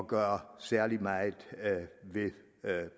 gøre særlig meget ved